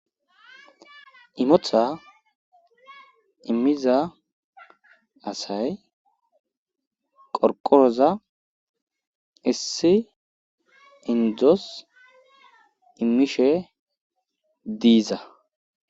imota immiza asay qorqooza issi indzos immishe diiza